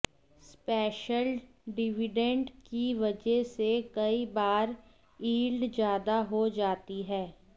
special dividend की वजह से कई बार यील्ड ज्यादा हो जाती है